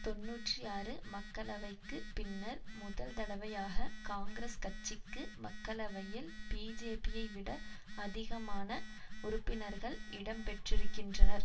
தொன்னூற்றி ஆறு மக்களவைக்குப் பின்னர் முதல் தடவையாக காங்கிரஸ் கட்சிக்கு மக்களவையில் பிஜேபியை விட அதிகமான உறுப்பினர்கள் இடம் பெற்றிருக்கின்றனர்